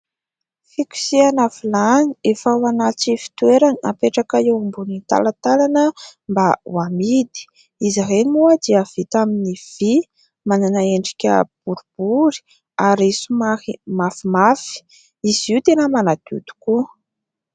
Fikosehana vilany efa ao anaty fitoerany apetraka eo ambony talatalana mba ho amidy. Izy ireny moa dia vita amin'ny vỳ, manana endrika boribory ary somary mafimafy. Izy io tena manadio tokoa.